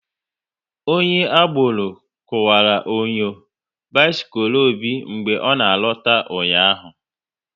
Onye agboro kuwara onyo bisikul Obi mgbe ọ na alota ụnyaahụ